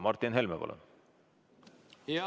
Martin Helme, palun!